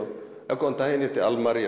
já góðan daginn ég heiti Almar og